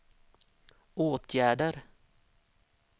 åtgärder